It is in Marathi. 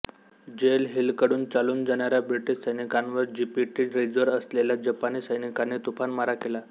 जेल हिलकडून चालून जाणाऱ्या ब्रिटिश सैनिकांवर जीपीटी रिजवर असलेल्या जपानी सैनिकांनी तुफान मारा केला